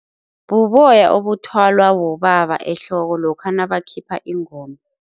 Buboya obuthwalwa bobaba ehloko lokha nabakhipha ingoma.